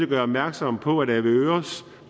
gøre opmærksom på at avedøres